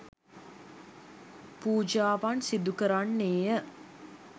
පූජාවන් සිදු කරන්නේය